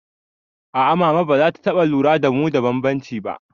A'a mama bazata taɓa lura da mu da bambanci ba